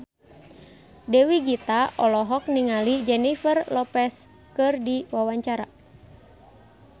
Dewi Gita olohok ningali Jennifer Lopez keur diwawancara